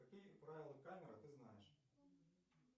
какие правила камеры ты знаешь